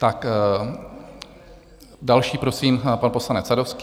Tak další, prosím, pan poslanec Sadovský.